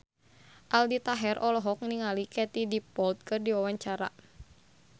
Aldi Taher olohok ningali Katie Dippold keur diwawancara